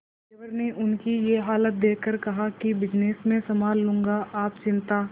देवर ने उनकी ये हालत देखकर कहा कि बिजनेस मैं संभाल लूंगा आप चिंता